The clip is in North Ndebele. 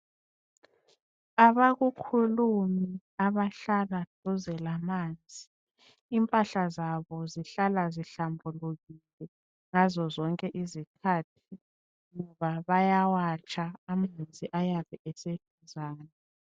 Abakukhulumi abahlala duze lamanzi impahla zabo zihlala zihlambulukile ngazo zonke izikhathi ngoba bayawatsha amanzi ayabe eseduzane.